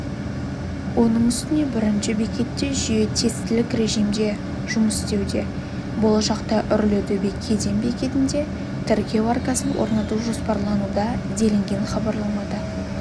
оның үстіне бірінші бекетте жүйе тестілік режимде жұмыс істеуде болашақта үрлітөбе кеден бекетінде тіркеу аркасын орнату жоспарлануда делінген хабарламада